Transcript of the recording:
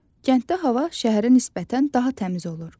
Kənddə hava şəhərə nisbətən daha təmiz olur.